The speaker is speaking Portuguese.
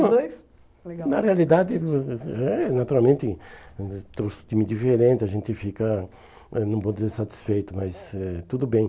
legal. Na realidade, é, naturalmente, é um time diferente, a gente fica, eh não vou dizer satisfeito, mas eh tudo bem.